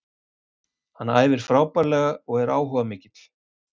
Hann æfir frábærlega og er áhugamikill.